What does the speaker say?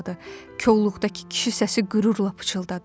Kolluqdakı kişi səsi qürurla pıçıldadı: